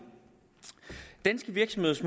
synes